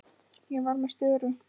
Ég var með störu.